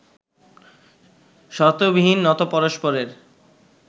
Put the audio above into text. শর্তবিহীন নত পরস্পরের